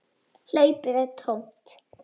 Hlaupið er tómt.